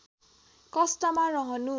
कष्टमा रहनु